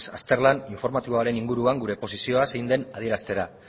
azterlan informatiboaren inguruan gure posizioa zein den adieraztera